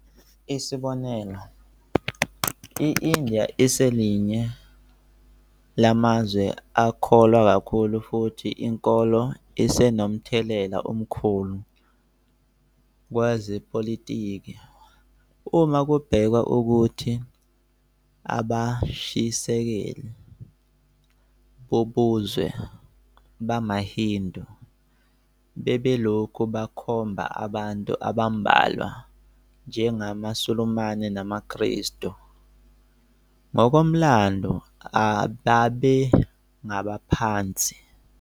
Isibonelo, i-India iselinye lamazwe akholwa kakhulu futhi inkolo isenomthelela omkhulu kwezepolitiki, uma kubhekwa ukuthi abashisekeli bobuzwe bamaHindu bebelokhu bekhomba abantu abambalwa njengamaSulumane namaKristu, ngokomlando ababengabaphansi.